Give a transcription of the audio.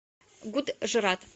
гуджрат